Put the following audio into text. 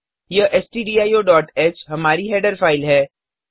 यह stdioह हमारी हेडर फाइल है